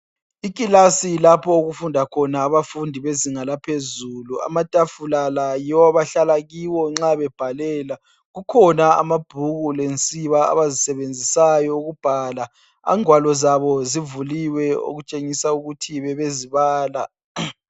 Ikilasi lapho okufunda khona abafundi bezinga laphezulu. Amatafula la yiwo abahlala kiwo nxa bebhalela. Kukhona amabhuku lensiba abazisebenzisayo ukubhala, ingwalo zabo zivuliwe okutshengisa ukuthi bebezibala.